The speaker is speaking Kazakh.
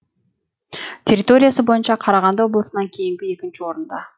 территориясы бойынша қарағанды облысынан кейінгі екінші орында